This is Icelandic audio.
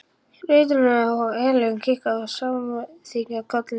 Ritararnir og Elín kinka samþykkjandi kolli.